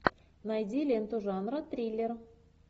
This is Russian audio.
найди ленту жанра триллер